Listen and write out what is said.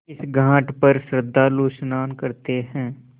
इस घाट पर श्रद्धालु स्नान करते हैं